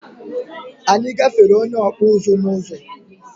Anyị gáfèrè onye Okpuzu n'uzo